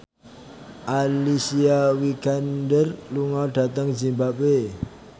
Alicia Vikander lunga dhateng zimbabwe